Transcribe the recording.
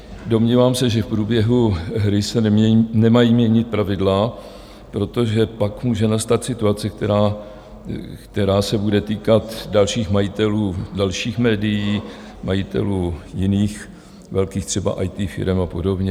Domnívám se, že v průběhu hry se nemají měnit pravidla, protože pak může nastat situace, která se bude týkat dalších majitelů dalších médií, majitelů jiných, velkých třeba IT firem a podobně.